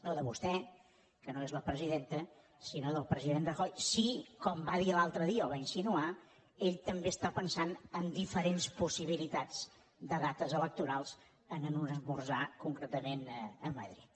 no de vostè que no és la presidenta sinó del president rajoy si com va dir l’altre dia o va insinuar ell també està pensant en diferents possibilitats de dates electorals en un esmorzar concretament a madrid